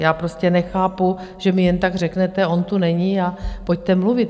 Já prostě nechápu, že mi jen tak řeknete, on tu není a pojďte mluvit.